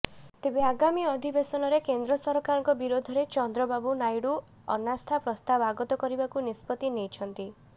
ତେଣୁ ଆଗାମୀ ଅଧିବେଶନରେ କେନ୍ଦ୍ର ସରକାରଙ୍କ ବିରୋଧରେ ଚନ୍ଦ୍ରବାବୁ ନାଇଡ଼ୁ ଅନାସ୍ଥା ପ୍ରସ୍ତାବ ଆଗତ କରିବାକୁ ନିଷ୍ପତ୍ତି ନେଇଛନ୍ତି